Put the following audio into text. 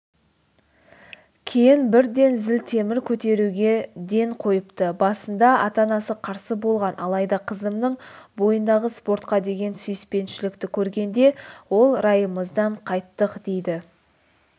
кейін бірден зілтемір көтеруге ден қойыпты басында ата-анасы қарсы болған алайда қызымның бойындағы спортқа деген сүйіспеншілікті көргенде ол райымыздан қайттық дейді